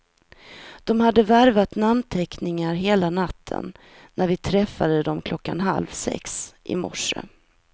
De hade värvat namnteckningar hela natten när vi träffade dem klockan halv sex i morse.